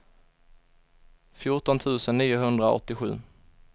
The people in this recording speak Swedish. fjorton tusen niohundraåttiosju